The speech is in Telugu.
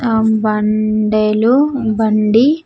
ఆ బండెలు బండి.